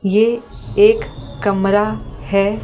ये एक कमरा है ।